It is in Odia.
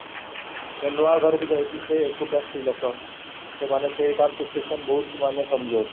ଯିଏ ନୂଆ ଘରକୁ ଯାଇଛି ସେ ଏକୁଟିଆ ସ୍ତ୍ରୀ ଲୋକ ସେ ମାନେ ସେ situation ଟା ମାନେ ବହୁତ କମଜୋର